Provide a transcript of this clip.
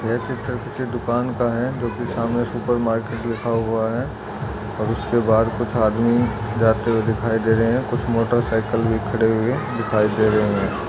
ये तस्वीर दुकान का है जोकि सामने सुपर मार्केट लिखा हुआ है और उसके बाहर कुछ आदमी जाते हुए दिखाई दे रहे है कुछ मोटर सायकल भी खड़े हुए दिखाई दे रहे है।